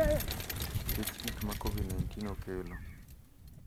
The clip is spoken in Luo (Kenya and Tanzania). nikech gik ma Covid-19 okelo.